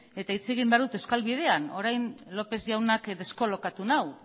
eta hitz egin behar dut euskal bidean orain lópez jaunak deskolokatu nau